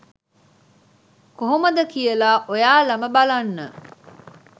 කොහොමද කියලා ඔයාලම බලන්න.